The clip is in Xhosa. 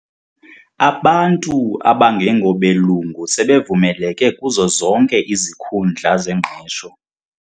Abantu abangengobelungu sebevumeleke kuzo zonke izikuhundla zengqesho.